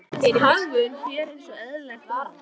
Hagvön hér eins og eðlilegt var.